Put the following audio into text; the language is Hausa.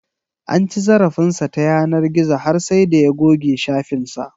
An ci zarafin sa ta yanar gizo har sai da ya goge shafin sa